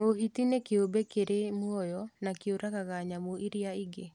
Mũhĩti nĩ kĩũmbe kĩrĩ mũoyo na kĩũragaga nyamũ iria ingĩ